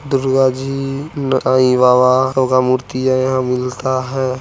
दुर्गा जी ऊ-आई बाबा और भी मूर्ति यहां मिलता है।